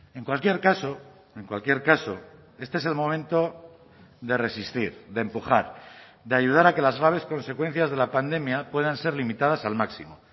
en cualquier caso en cualquier caso este es el momento de resistir de empujar de ayudar a que las graves consecuencias de la pandemia puedan ser limitadas al máximo